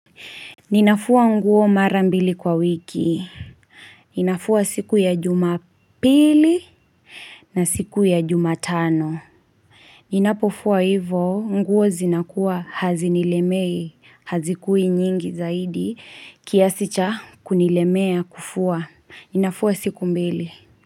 Ninafua nguo mara mbili kwa wiki. Ninafua siku ya jumapili na siku ya jumatano. Ninapofua hivo, nguo zinakuwa hazinilemei, hazikui nyingi zaidi, kiasi cha kunilemea kufua. Ninafua siku mbili.